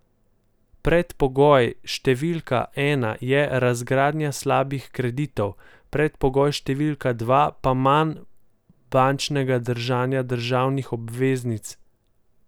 Predpogoj številka ena je razgradnja slabih kreditov, predpogoj številka dva pa manj bančnega držanja državnih obveznic.